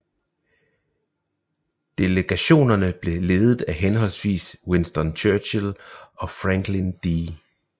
Delegationerne blev ledet af henholdsvis Winston Churchill og Franklin D